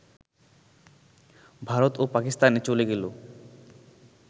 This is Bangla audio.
ভারত ও পাকিস্তানে চলে গেল